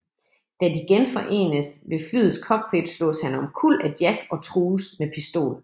Da de genforenes ved flyets cockpit slås han omkuld af Jack og trues med pistol